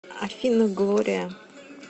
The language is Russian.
афина глория